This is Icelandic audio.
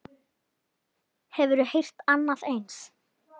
Hafiði heyrt annað eins?